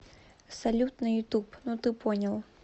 салют на ютуб ну ты понял